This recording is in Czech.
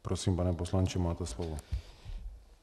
Prosím, pane poslanče, máte slovo.